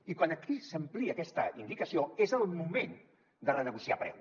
i quan aquí s’amplia aquesta indicació és el moment de renegociar preu